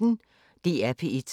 DR P1